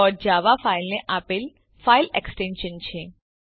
dot java Java ફાઇલને આપેલ file extension છે